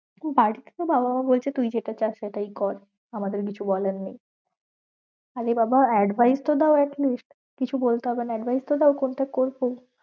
বাড়িতে তো বাবা মা বলছে তুই যেটা চাস সেটাই কর আমাদের কিছু বলার নেই আরে বাবা advice তো দাও at least কিছু বলতে হবে না advice তো দাও কোনটা করবো